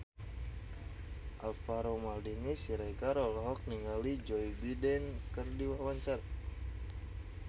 Alvaro Maldini Siregar olohok ningali Joe Biden keur diwawancara